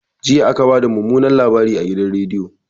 Jiya aka bada mumunan labari a gidan rediyo